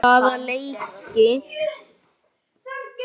Hvaða leiki?